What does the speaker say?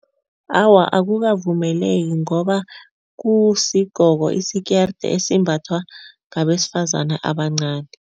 Awa, akukavumeleki ngoba kusigqoko isikerde esimbathwa ngabesifazana abancani.